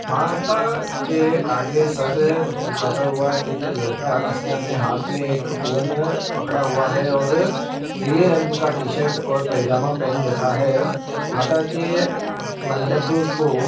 माता के आगे सर झुकाता हुआ एक लड़का जिसने अपने हाथ में एक फोन पकड़ा हुआ है और नीले रंग का टी- शर्ट और पाजामा पहन रखा है माता के मंडप को--